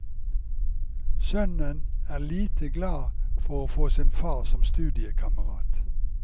Sønnen er lite glad for å få sin far som studiekamerat.